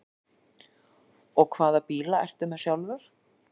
Og hvaða bíla ertu með sjálfur?